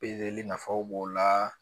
nafaw b'o la